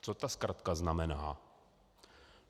Co ta zkratka znamená?